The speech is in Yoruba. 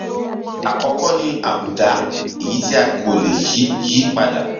àkọkọ ni àbùdá èyí tí a kò lè yí yí padà